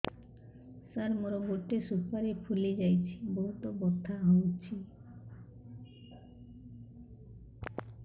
ସାର ମୋର ଗୋଟେ ସୁପାରୀ ଫୁଲିଯାଇଛି ବହୁତ ବଥା ହଉଛି